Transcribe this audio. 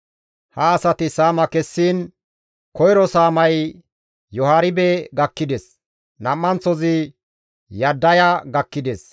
Ha asati saama kessiin koyro saamay Yoharibe gakkides; nam7anththozi Yaddaya gakkides;